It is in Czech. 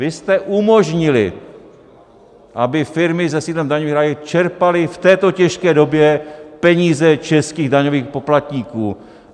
Vy jste umožnili, aby firmy se sídlem v daňových rájích čerpaly v této těžké době peníze českých daňových poplatníků!